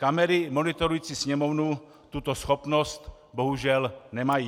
Kamery monitorující sněmovnu tuto schopnost bohužel nemají.